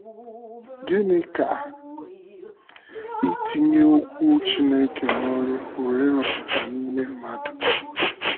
Gịnị ka itinye Okwu Chineke n’ọrụ pụrụ ịrụpụta n’ime mmadụ?